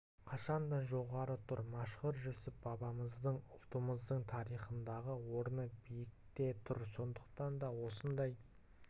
қашан да жоғары тұр мәшһүр жүсіп бабамыздың ұлтымыздың тарихындағы орны биікте тұр сондықтан да осындай